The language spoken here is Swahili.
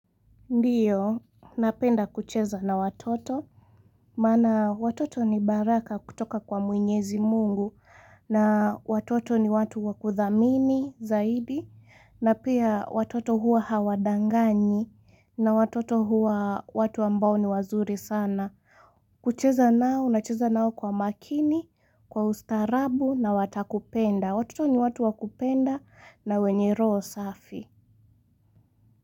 Ndiyo, napenda kucheza na watoto, maana watoto ni baraka kutoka kwa mwenyezi mungu, na watoto ni watu wakuthamini, zaidi, na pia watoto huwa hawadanganyi, na watoto huwa watu ambao ni wazuri sana. Kucheza nao, nacheza nao kwa umakini, kwa ustaarabu, na watakupenda. Watoto ni watu wakupenda, na wenye roho safi.